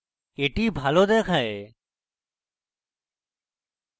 that ভালো দেখায়